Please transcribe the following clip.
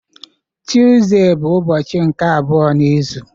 Tuzdee bụ ụbọchị nke abụọ n'izu